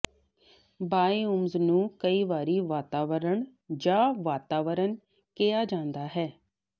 biomes ਨੂੰ ਕਈ ਵਾਰੀ ਵਾਤਾਵਰਣ ਜਾਂ ਵਾਤਾਵਰਨ ਕਿਹਾ ਜਾਂਦਾ ਹੈ